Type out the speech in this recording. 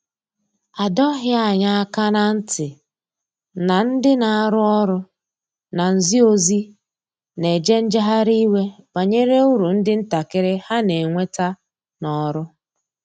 A dọghi anya aka na nti na ndi na arụ ọrụ na nzi ozi na eje njehari iwe banyere ụrụ ndi ntakiri ha n'enweta n'ọrụ.